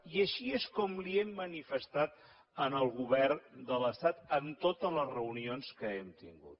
i així és com li ho hem manifestat al govern de l’estat en totes les reunions que hem tingut